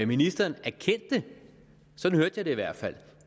ministeren erkendte sådan hørte jeg det i hvert fald